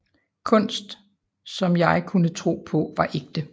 Kunst som jeg kunne tro på var ægte